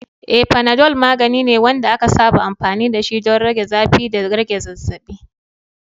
Eh, Panadol magani ne wanda aka saba amfani dashi don rage zafi da rage zazzabi.